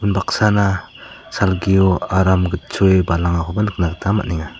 baksana salgio aram gitchoe balangakoba nikna gita man·enga.